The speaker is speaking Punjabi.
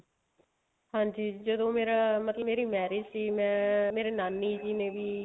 ਹਾਂਜੀ ਜਦੋਂ ਮੇਰਾ ਮਤਲਬ ਮੇਰੀ marriage ਸੀ ਮੈਂ ਮੇਰੀ ਨਾਨੀ ਜੀ ਨੇ ਵੀ